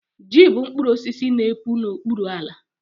ji bụ mkpụrụ osisi n'epu n'okpuru ala